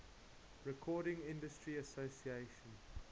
recording industry association